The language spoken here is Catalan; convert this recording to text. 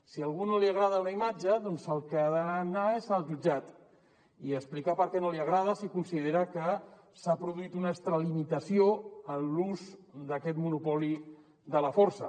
si a algú no li agrada una imatge doncs el que ha d’anar és al jutjat i explicar per què no li agrada si considera que s’ha produït una extralimitació en l’ús d’aquest monopoli de la força